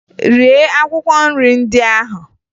Rie akwụkwọ nrị ndị ahụ!